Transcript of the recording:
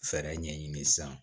Fɛɛrɛ ɲɛɲini sisan